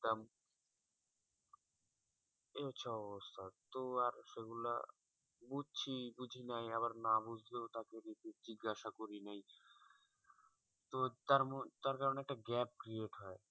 এই হচ্ছে অবস্থা তো আর সেগুলা বুঝছি বুঝি নাই আবার না বুঝলেও কাউকে জিজ্ঞাসা করি নাই তার কারণে একটা gap create হয়